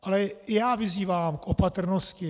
Ale i já vyzývám k opatrnosti.